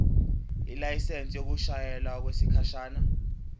ilayisensi yokushayela okwesikhashana